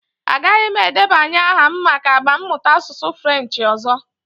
Agaghị m edebanye aha m maka agba mmụta asụsụ Frenchị ọzọ.